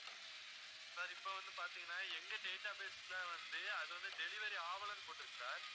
sir இப்போ வந்து பாத்திங்கன்னா எங்க data base ல வந்து அதுவந்து delivery ஆகலைன்னு போட்டிருக்கு sir